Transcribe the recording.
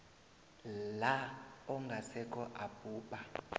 la ongasekho abhubha